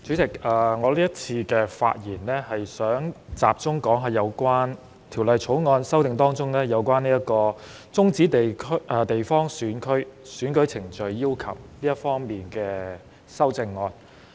代理主席，在這次發言中，我想集中談談《2021年完善選舉制度條例草案》中，修訂有關終止地方選區選舉程序要求的修正案。